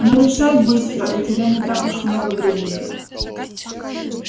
но решай быстро у тебя не так уж много времени